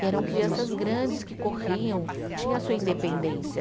E eram crianças grandes que corriam, tinha a sua independência.